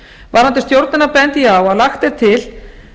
varðandi stjórnina bendi ég á að lagt er til